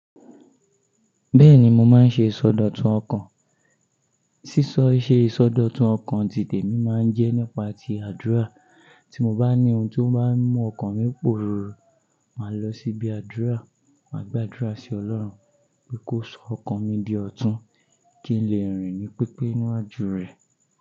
Bẹ́ẹ̀ni mo máa ń ṣe ìsọdọ̀tun ọkàn. Sísọ, ìse ìsọdọ̀tun ọkàn tìte mi máa ń jẹ́ nípa ti àdúrà. Tí mo bá ní ohun tó bá ń mú ọkàn mi pòrùrù, màá lọ síbi àdúrà, màá gbàdúrà sí Ọlọ́run pé kó sọ ọkàn mi di ọ̀tún kí n lè rìn ní pípé níwájú rẹ̀.